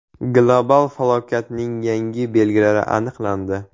Global falokatning yangi belgilari aniqlandi.